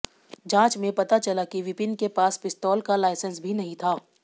जांच में पता चला कि विपिन के पास पिस्तौल का लाइसेंस भी नहीं था